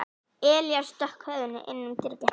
Elías stakk höfðinu inn um dyragættina.